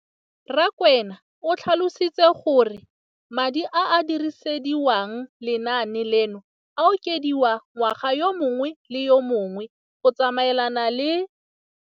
Rakwena o tlhalositse gore madi a a dirisediwang lenaane leno a okediwa ngwaga yo mongwe le yo mongwe go tsamaelana le